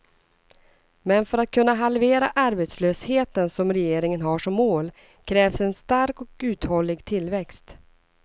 Men för att kunna halvera arbetslösheten, som regeringen har som mål, krävs en stark och uthållig tillväxt.